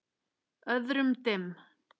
Öðrum dimm.